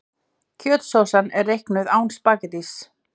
Kjötsósan er reiknuð án spaghettís.